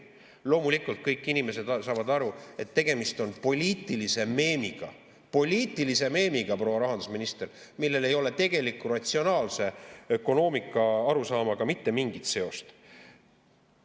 Loomulikult saavad kõik inimesed aru, et tegemist on poliitilise meemiga – poliitilise meemiga, proua rahandusminister –, millel ei ole tegeliku ratsionaalse ökonoomika arusaamaga mitte mingit seost.